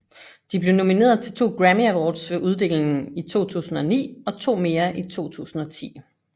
De blev nomineret til to Grammy Awards ved uddelingen i 2009 og to mere i 2010